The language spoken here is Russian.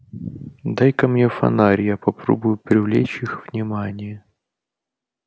дай-ка мне фонарь я попробую привлечь их внимание